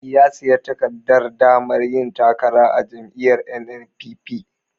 Ya sayi takardar damar yin takara a jam'iyyar NNPP.